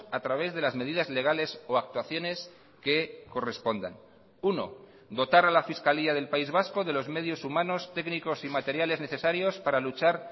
a través de las medidas legales o actuaciones que correspondan uno dotar a la fiscalía del país vasco de los medios humanos técnicos y materiales necesarios para luchar